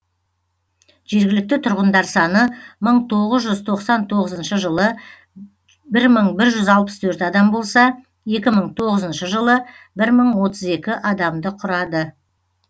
жергілікті тұрғындар саны мың тоғыз жүз тоқсан тоғызыншы жылы бір мың бір жүз алпыс төрт адам болса екі мың тоғызыншы жылы бір мың отыз екі адамды құрады